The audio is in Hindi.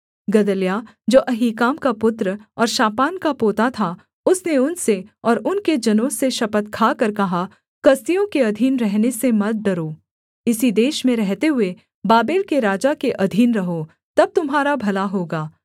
गदल्याह जो अहीकाम का पुत्र और शापान का पोता था उसने उनसे और उनके जनों से शपथ खाकर कहा कसदियों के अधीन रहने से मत डरो इसी देश में रहते हुए बाबेल के राजा के अधीन रहो तब तुम्हारा भला होगा